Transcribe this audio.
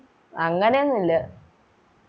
അങ്ങനെയൊന്നുല്ല